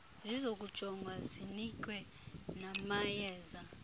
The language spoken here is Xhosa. zizokujongwa zinikwe namayeza